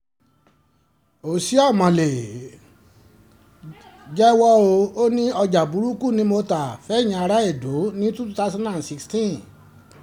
oshiomole jẹ́wọ́ ò ní ọjà burúkú ni mo ta fẹ̀yìn ará edo ní two thouand and sixteen